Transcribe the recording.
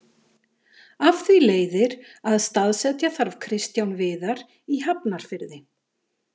Af því leiðir að staðsetja þarf Kristján Viðar í Hafnarfirði.